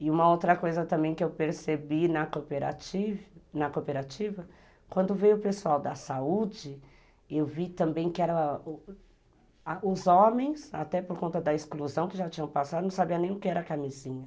E uma outra coisa também que eu percebi na cooperativa, quando veio o pessoal da saúde, eu vi também que os homens, até por conta da exclusão que já tinham passado, não sabiam nem o que era camisinha.